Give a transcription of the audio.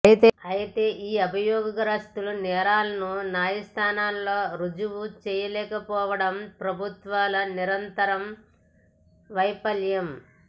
అయతే ఈ అభియోగ గ్రస్తుల నేరాలను న్యాయస్థానాలలో ఋజువు చేయలేకపోవడం ప్రభుత్వాల నిరంతర వైఫల్యం